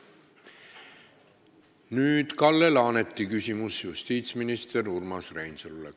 Nüüd Kalle Laaneti küsimus justiitsminister Urmas Reinsalule.